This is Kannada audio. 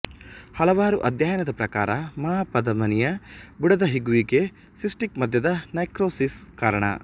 ಹಲವಾರು ಅಧ್ಯಯನದ ಪ್ರಕಾರ ಮಹಾಪಧಮನಿಯ ಬುಡದ ಹಿಗ್ಗುವಿಕೆಗೆ ಸಿಸ್ಟಿಕ್ ಮಧ್ಯದ ನೈಕ್ರೋಸಿಸ್ ಕಾರಣ